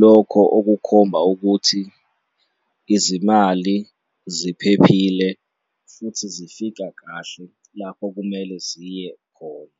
lokho okukhomba ukuthi izimali ziphephile futhi zifika kahle lapho kumele ziye khona.